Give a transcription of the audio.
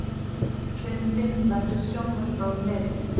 Fundinum verður sjónvarpað á netinu